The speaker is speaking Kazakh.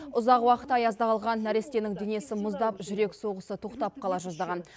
ұзақ уақыт аязда қалған нәрестенің денесі мұздап жүрек соғысы тоқтап қала жаздаған